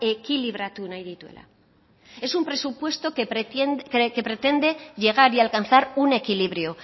ekilibratu nahi dituela es un presupuesto que pretende llegar y alcanzar un equilibrio